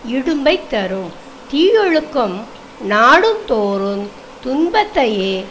இடும்பையைத் தரும் தீயவொழுக்கம் நாடோறுந் துன்பத்தையே